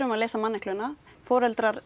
að leysa mannekluna foreldrar